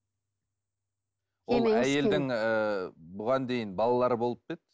әйелдің ыыы бұған дейін балалары болып па еді